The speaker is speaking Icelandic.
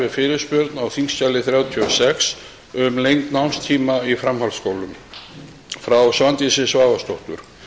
við fyrirspurn á þingskjali þrjátíu og sex um lengd námstíma í framhaldsskólum frá svandísi svavarsdóttur